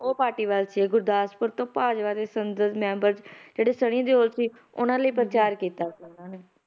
ਉਹ ਪਾਰਟੀ ਵਿੱਚ ਗੁਰਦਾਸਪੁਰ ਤੋਂ ਭਾਜਪਾ ਦੇ ਸੰਸਦ ਮੈਂਬਰ ਜਿਹੜੇ ਸਨੀ ਦਿਓਲ ਸੀ, ਉਹਨਾਂ ਲਈ ਪ੍ਰਚਾਰ ਕੀਤਾ ਸੀ ਇਹਨਾਂ ਨੇ,